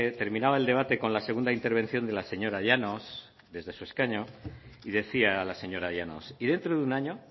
terminaba el debate con la segunda intervención de la señora llanos desde su escaño y decía la señora llanos y dentro de un año